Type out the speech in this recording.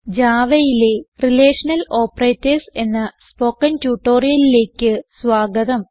Javaയിലെ relational operators എന്ന spoken ട്യൂട്ടോറിയലിലേക്ക് സ്വാഗതം